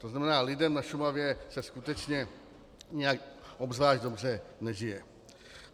To znamená, lidem na Šumavě se skutečně nijak zvlášť dobře nežije.